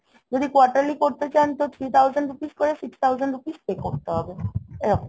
যদি quarterly করতে চান তো three thousand rupees করে six thousand rupees pay করতে হবে এরকম